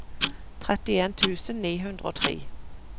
trettien tusen ni hundre og tre